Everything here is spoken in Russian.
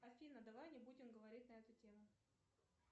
афина давай не будем говорить на эту тему